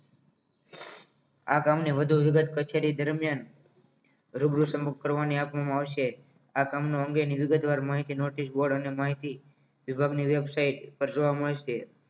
આ કામને વધુ વિગત કચેરી દરમિયાન રૂબરૂ સન્મુખ કરવા માં આવશે આ કામનો અંગેની વિગતવાર માહિતી notice board અને માહિતી વિભાગની website પર જોવા મળશે